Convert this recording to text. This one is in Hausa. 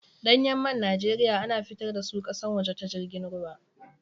Ɗanyan man Najeriya a na fitar da su ƙasan waje ta jirgin ruwa.